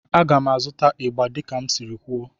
A ga m azụta igba dika m siri kwuo